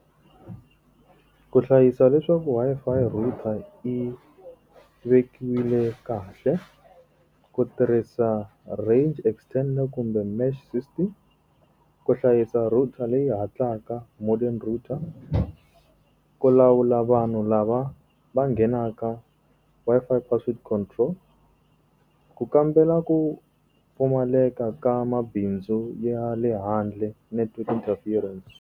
Ku hlayisa leswaku Wi-Fi router yi vekiwile kahle, ku tirhisa range extender kumbe mesh system. Ku hlayisa router leyi hatlaka modern router. Ku lawula vanhu lava va nghenaka, Wi-Fi password control. Ku kambela ku pfumaleka ka mabindzu ya le handle, network interference.